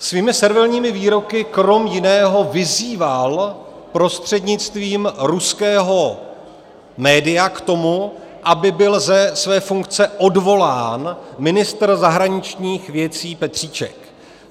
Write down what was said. Svými servilními výroky krom jiného vyzýval prostřednictvím ruského média k tomu, aby byl ze své funkce odvolán ministr zahraničních věcí Petříček.